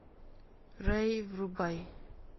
рай врубай